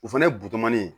O fɛnɛ bido manin